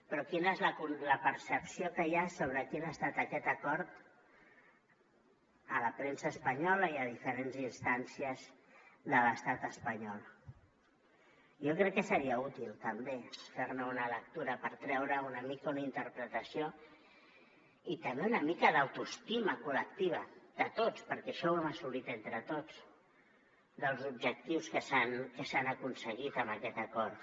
però quina és la percepció que hi ha sobre quin ha estat aquest acord a la premsa espanyola i a diferents instàncies de l’estat espanyol jo crec que seria útil també fer ne una lectura per treure’n una mica una interpretació i també una mica d’autoestima col·lectiva de tots perquè això ho hem assolit entre tots dels objectius que s’han aconseguit amb aquest acord